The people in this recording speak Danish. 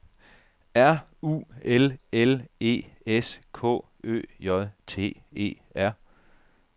R U L L E S K Ø J T E R